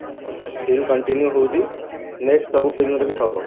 still continue ରହୁଛି next ସବୁ film ରେ ବି ରହିବ